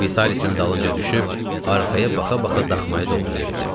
Vitalisin dalınca düşüb arxaya baxa-baxa daxmaya doğru yeridim.